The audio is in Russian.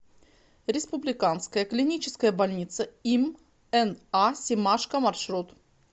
республиканская клиническая больница им на семашко маршрут